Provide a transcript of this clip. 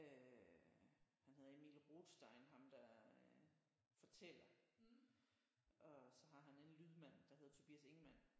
Øh han hedder Emil Rothstein ham der øh fortæller og så har han en lydmand der hedder Tobias Ingemann